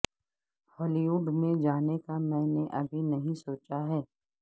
ہالی وڈ میں جانے کا میں نے ابھی نہیں سوچا ہے